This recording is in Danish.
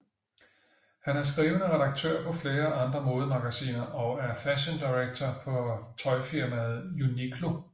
Han er skrivende redaktør på flere andre modemagasiner og er fashion director for tøjfirmaet Uniqlo